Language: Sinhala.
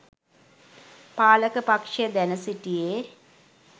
පාලක පක්‍ෂය දැන සිටියේ